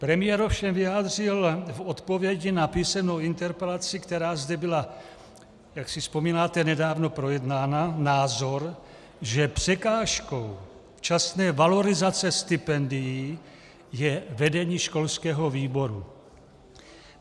Premiér ovšem vyjádřil v odpovědi na písemnou interpelaci, která zde byla, jak si vzpomínáte, nedávno projednána, názor, že překážkou časné valorizace stipendií je vedení školského výboru.